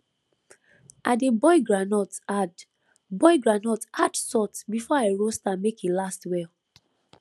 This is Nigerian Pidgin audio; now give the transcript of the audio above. i dey boil groundnut add boil groundnut add salt before i roast am make e last well